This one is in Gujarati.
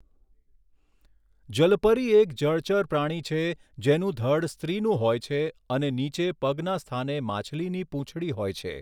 જલપરી એક જળચર પ્રાણી છે જેનું ધડ સ્ત્રીનું હોય છે અને નીચે પગના સ્થાને માછલીની પૂંછડી હોય છે.